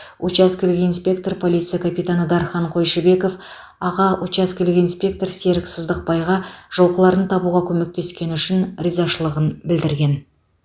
учаскелік инспектор полиция капитаны дархан қойшыбеков аға учаскелік инспектор серік сыздықбайға жылқыларын табуға көмектескені үшін ризашылығын білдірген